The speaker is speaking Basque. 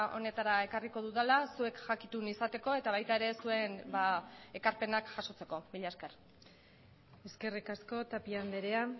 honetara ekarriko dudala zuek jakitun izateko eta baita ere zuen ekarpenak jasotzeko mila esker eskerrik asko tapia andrea